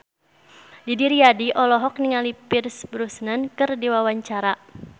Didi Riyadi olohok ningali Pierce Brosnan keur diwawancara